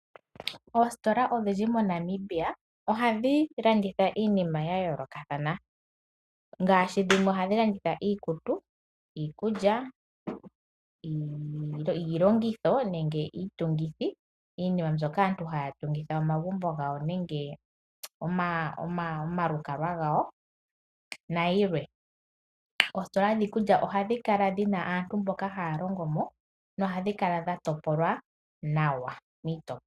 Oositola odhindji moNamibia ohadhi landitha iinima yayoolokathana ngaashi dhimwe ohadhi landitha iikutu, iikulya, iilongitho nenge iitungithi iinima mbyoka aantu haya tungitha omagumbo gawo nenge omalukalwa gawo nayilwe. Oositola dhiikulya ohadhi kala dhi na aantu mboka haa longo mo nohadhi kala dha topolwa nawa miitopolwa.